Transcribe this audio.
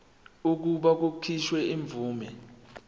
kokuba kukhishwe imvume